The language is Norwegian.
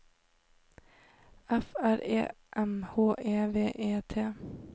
F R E M H E V E T